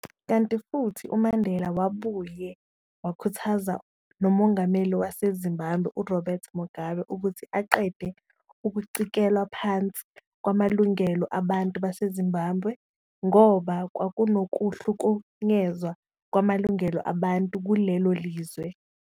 Kanti futhi uMandela wabuye wakhuthaza noMongameli waseZimbabwe uRobert Mugabe ukuthi aqede ukucikelwa phansi kwamalungelo abantu baseZimbabwe, ngoba kwakunokuhlukunyezwa kwamalungelo abantu kulelo lizwe.